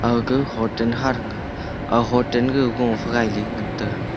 aga hoten kha tanga ah hoten go phe gaile ngan taga.